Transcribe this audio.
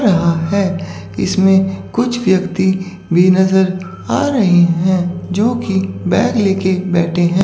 यहां है इसमें कुछ व्यक्ति भी नजर आ रहे हैं जो कि बैग ले के बैठे हैं।